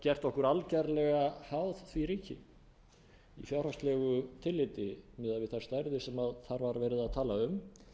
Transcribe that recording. gert okkur algerlega háð því ríki í fjárhagslegu tilliti miðað við þær stærðir sem þar verið að tala um